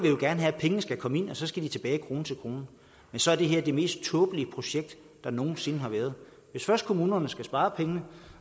jo gerne have at pengene skal komme ind og så skal de tilbage krone til krone men så er det her det mest tåbelige projekt der nogen sinde har været hvis først kommunerne skal spare pengene